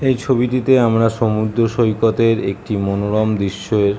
এই ছবিটিতে আমরা সমুদ্র সৈকতের একটি মনোরম দৃশ্যের ।